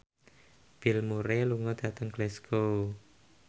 Bill Murray lunga dhateng Glasgow